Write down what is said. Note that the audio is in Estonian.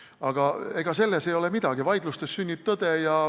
Aga ega sellest ei ole midagi, vaidlustes sünnib tõde.